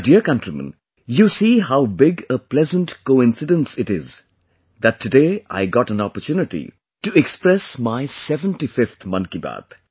My dear countrymen, you see how big a pleasant coincidence it is that today I got an opportunity to express my 75th Mann ki Baat